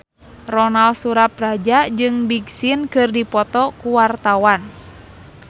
Ronal Surapradja jeung Big Sean keur dipoto ku wartawan